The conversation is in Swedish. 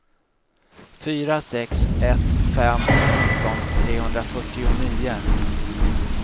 fyra sex ett fem sjutton trehundrafyrtionio